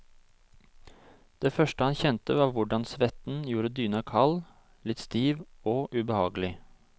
Det første han kjente var hvordan svetten gjorde dyna kald, litt stiv ogubehagelig.